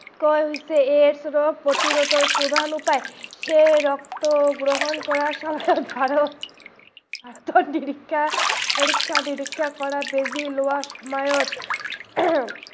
AIDS ৰোগ প্ৰতিৰোধৰ চুৰান্ত উপায় সেই ৰক্ত গ্ৰহন কৰা সময়ত, পৰীক্ষা নিৰীক্ষা কৰা বেজি লোৱাৰ সময়ত